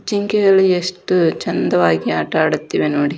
ಜಿಂಕೆಗಳು ಎಷ್ಟು ಚಂದವಾಗಿ ಆಟ ಆಡುತ್ತಿವೆ ನೋಡಿ.